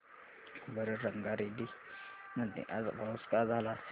सांगा बरं रंगारेड्डी मध्ये आज पाऊस का झाला असेल